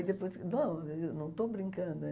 E depois... Não, eu não estou brincando.